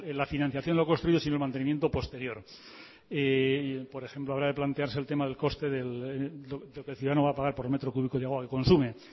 la financiación de lo construido sino el mantenimiento posterior por ejemplo habrá que plantearse el tema del coste de lo que el ciudadano va a pagar por metro cúbico de agua que consume